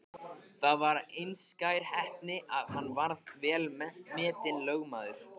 Það var einskær heppni að hann varð vel metinn lögmaður.